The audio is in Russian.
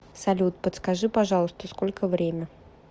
салют подскажи пожалуйста сколько время